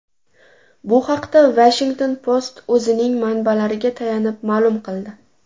Bu haqda Washington Post o‘zining manbalariga tayanib ma’lum qildi .